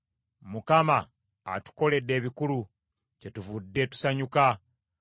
Mukama atukoledde ebikulu, kyetuvudde tusanyuka.